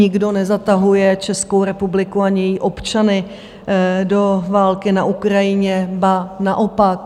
Nikdo nezatahuje Českou republiku ani její občany do války na Ukrajině, ba naopak.